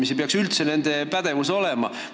See ei peaks üldse nende pädevus olema.